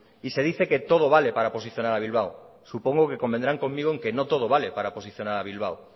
y se dice que todo vale para posicionar a bilbao supongo que convendrán conmigo en que no todo vale para posicionar a bilbao